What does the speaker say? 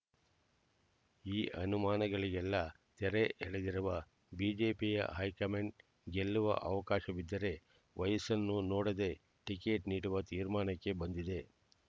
ಈ ಅನುಮಾನಗಳಿಗೆಲ್ಲಾ ತೆರೆ ಎಳೆದಿರುವ ಬಿಜೆಪಿಯ ಹೈಕಮಾಂಡ್ ಗೆಲ್ಲುವ ಅವಕಾಶವಿದ್ದರೆ ವಯಸ್ಸನ್ನು ನೋಡದೆ ಟಿಕೆಟ್ ನೀಡುವ ತೀರ್ಮಾನಕ್ಕೆ ಬಂದಿದೆ